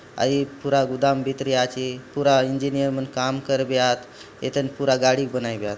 अ ए पूरा गोदाम भीतरी आचे पूरा इंजीनियर मन काम करबे आत ए तन पूरा गाड़ी बनायेब यात --